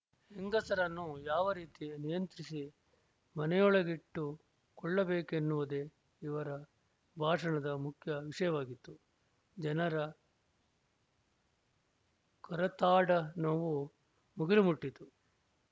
ಹೆಂಗಸರನ್ನು ಯಾವ ರೀತಿ ನಿಯಂತ್ರಿಸಿ ಮನೆಯೊಳಗಿಟ್ಟುಕೊಳ್ಳಬೇಕೆನ್ನುವುದೇ ಇವರ ಭಾಷಣದ ಮುಖ್ಯ ವಿಷಯವಾಗಿತ್ತು ಜನರ ಕರತಾಡನುವೂ ಮುಗಿಲು ಮುಟ್ಟಿತು